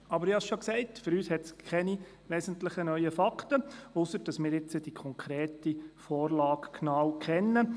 Aber für uns gibt es keine wesentlich neuen Fakten, ausser, dass wir die konkrete Vorlage jetzt genau kennen.